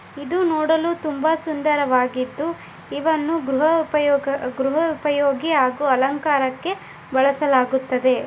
ಇದು ನೋಡಲು ತುಂಬಾ ಸುಂದರವಾಗಿದ್ದು ಇವನ್ನು ಗೃಹ ಉಪಯೋಗಿ ಉಪಯೋಗಕ್ಕೆ ಹಾಗೂ ಅಲಂಕಾರಕ್ಕೆ ಬಳಸಲಾಗುತ್ತದೆ.